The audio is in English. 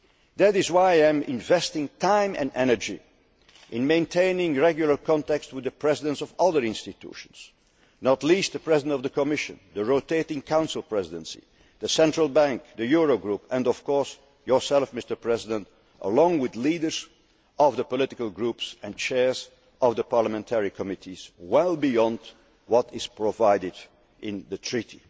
interest. That is why I am investing time and energy in maintaining regular contacts with the Presidents of other institutions, not least the President of the Commission, the rotating Council Presidency, the Central Bank, the Euro Group and, of course, yourself, Mr President, along with leaders of the political groups and chairs of the parliamentary committees, well beyond what is provided for in